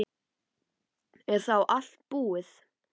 Er þá allt búið?